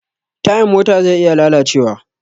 Tayan mota zai iya lalacewa.